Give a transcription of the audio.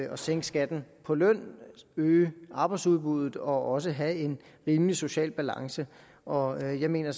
at sænke skatten på løn øge arbejdsudbuddet og også have en rimelig social balance og jeg mener